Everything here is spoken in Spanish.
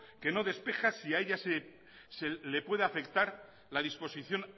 que no despeja si a ella le puede afectar la disposición